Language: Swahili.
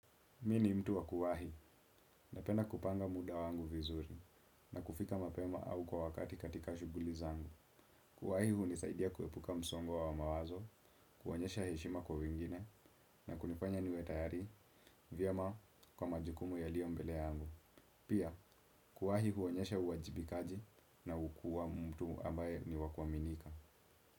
Mimi ni mtu wa kuwahi napenda kupanga muda wangu vizuri na kufika mapema au kwa wakati katika shughuli zangu. Kuwahi hunisaidia kuepuka msongo wa mawazo, kuonyesha heshima kwa wengine na kunifanya niwe tayari vyema kwa majukumu yalio mbele yangu. Pia kuwahi huonyesha uwajibikaji na hukuwa mtu ambaye ni wakuaminika.